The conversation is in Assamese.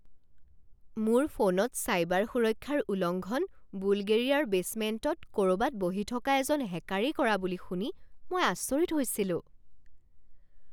মোৰ ফোনত চাইবাৰ সুৰক্ষাৰ উলংঘন বুলগেৰিয়াৰ বেছমেণ্টত ক'ৰবাত বহি থকা এজন হেকাৰেই কৰা বুলি শুনি মই আচৰিত হৈছিলো।